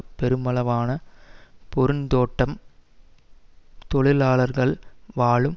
பெருமளவான பெருந்தோட்ட தொழிலாளர்கள் வாழும்